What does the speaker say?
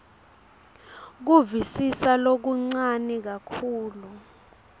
kuvisisa lokuncane kakhulu